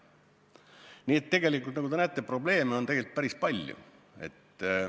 Tegelikult, nagu te näete, probleeme on päris palju.